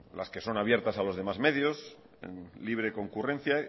las que son abiertas a los demás medios en libre concurrencia